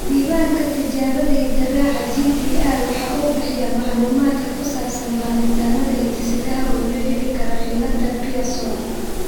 Diiwaanka Tijaabada Hidde-raaca (GTR) waxa uu bixiyaa macluumaadka ku saabsan baadhitaannada hidde-sidaha ee loo heli karo cillada Pierson.